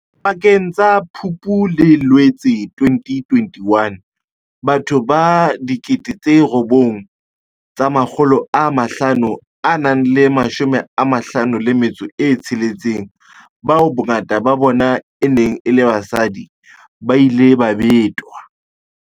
Pakeng tsa Phupu le Loetse 2021, batho ba 9 556, bao bongata ba bona e neng e le basadi, ba ile ba betwa.